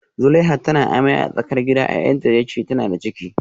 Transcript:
Zuleihat tana amai a tsakar gida, yayanta ya ce tana da ciki